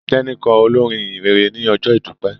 Teni kọ olorin ìhìnrere ní ojó idupẹ.